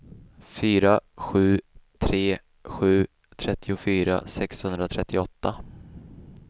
fyra sju tre sju trettiofyra sexhundratrettioåtta